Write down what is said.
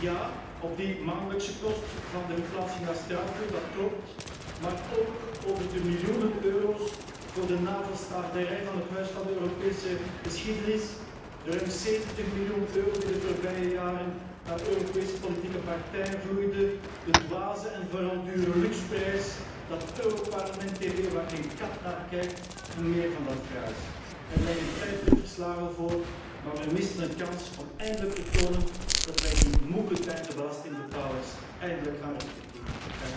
Ja, op die maandelijkse kosten van de verplaatsing naar Straatsburg, dat klopt, maar ook op die miljoenen euro's voor de navelstaarderij van het Huis van de Europese Geschiedenis, de ruim 70 miljoen euro die de voorbije jaren naar Europese politieke partijen vloeiden, de dwaze en vooral dure Lux prijs, die Europarl TV waar geen kat naar kijkt, en meer van dat fraais. Er liggen 50 verslagen voor, maar we missen een kans om eindelijk te tonen dat wij die moegetergde belastingbetalers eindelijk gaan respecteren.